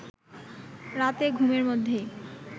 রাতে ঘুমের মধ্যেই